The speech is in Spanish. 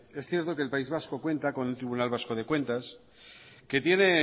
es cierto que el país vasco cuenta con el tribunal vasco de cuentas que tiene